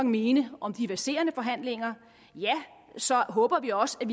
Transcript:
mene om de verserende forhandlinger ja så håber vi også at